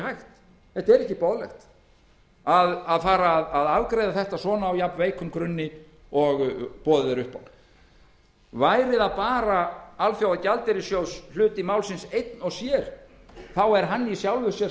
hægt þetta er ekki boðlegt að fara að afgreiða þetta svona á jafnveikum grunni og boðið er upp á væri það bara alþjóðagjaldeyrissjóðshluti málsins einn og sér er hann í sjálfu sér